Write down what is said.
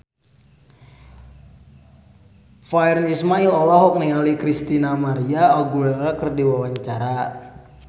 Virnie Ismail olohok ningali Christina María Aguilera keur diwawancara